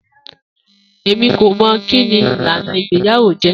Emi ko mọ kini ilana igbeyawo jẹ.